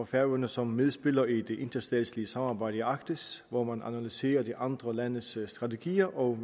færøerne som medspiller i det interstatslige samarbejde i arktis hvor man analyserer de andre landes strategier og